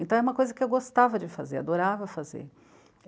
Então, é uma coisa que eu gostava de fazer, adorava fazer.